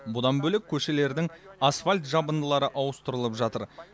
бұдан бөлек көшелердің асфальт жабындылары ауыстырылып жатыр